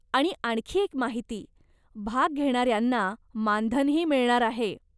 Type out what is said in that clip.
आणि आणखी एक माहिती, भाग घेणाऱ्यांना मानधनही मिळणार आहे.